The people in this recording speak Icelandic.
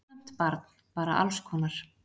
Ónefnt barn: Bara alls konar.